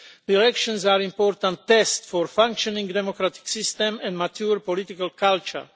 The elections are an important test for a functioning democratic system and a mature political culture.